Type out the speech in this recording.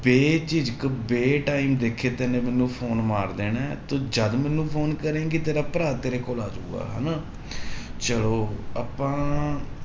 ਬੇਝਿਜਕ ਬੇ time ਦੇਖੇ ਤੈਨੇ ਮੈਨੂੰ phone ਮਾਰ ਦੇਣਾ ਹੈ ਤੂੰ ਜਦ ਮੈਨੂੰ phone ਕਰੇਂਗੀ ਤੇਰਾ ਭਰਾ ਤੇਰੇ ਕੋਲ ਆ ਜਾਊਗਾ, ਹਨਾ ਚਲੋ ਆਪਾਂ